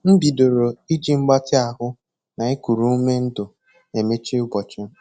M bidoro iji mgbatị ahụ na ikuru ume ndụ emechi ụbọchị m